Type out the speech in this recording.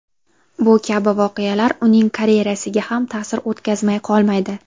Bu kabi voqealar uning karyerasiga ham ta’sir o‘tkazmay qolmaydi.